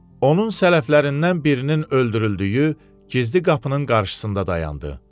Onun sələflərindən birinin öldürüldüyü gizli qapının qarşısında dayandı.